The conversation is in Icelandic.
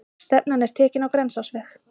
Stefnan er tekin á Grensásveg.